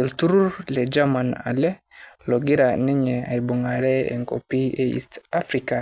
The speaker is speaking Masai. Eltururr le jemaan alee loojira ninye abung'are e nkopii e East Africa